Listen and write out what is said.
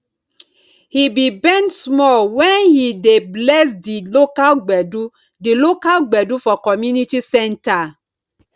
he be bend small wen he dey bless di local gbedu di local gbedu for community centre